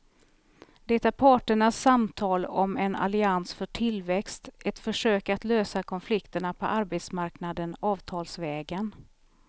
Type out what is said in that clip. Det är parternas samtal om en allians för tillväxt, ett försök att lösa konflikterna på arbetsmarknaden avtalsvägen.